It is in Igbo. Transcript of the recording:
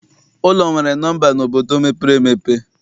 Ụlọ nwere nọmba n'obodo mepere emepe.